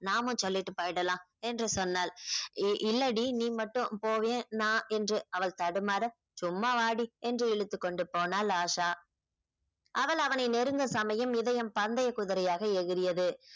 நாமம் சொல்லிட்டு போயிடலாம் என்று சொன்னாள் இல்லடி நீ மட்டும் போவியா நான் என்று அவள் தடுமாற சும்மா வாடி என்று இழுத்துக் கொண்டு போனாள் ஆஷா அவள் அவனை நெருங்க சமயம் இதயம் பந்தய குதிரையாக எகிரியது